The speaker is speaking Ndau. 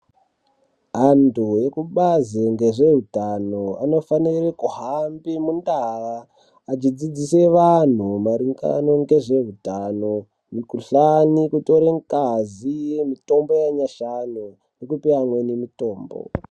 Antu ekubazi ngezveutano anofanire kuhambe mundaa achidzidzise vanhu maringano ngezvehutano mikuhlani kutore ngazi mitombo yanyashi ano ngekupe amweni mitombo.